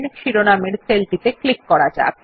শিরোনামের সেলটিতে ক্লিক করা যাক